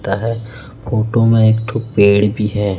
है फोटो में पेड़ भी है।